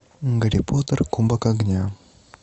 гарри поттер кубок огня